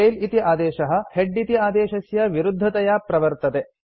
tail इति आदेशः head इति आदेशस्य विरुद्धतया प्रवर्तते